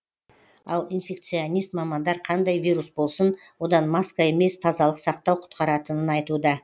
ал инфекционист мамандар қандай вирус болсын одан маска емес тазалық сақтау құтқаратынын айтуда